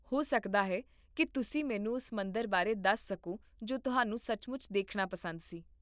ਹੋ ਸਕਦਾ ਹੈ ਕੀ ਤੁਸੀਂ ਮੈਨੂੰ ਉਸ ਮੰਦਿਰ ਬਾਰੇ ਦੱਸ ਸਕੋ ਜੋ ਤੁਹਾਨੂੰ ਸੱਚਮੁੱਚ ਦੇਖਣਾ ਪਸੰਦ ਸੀ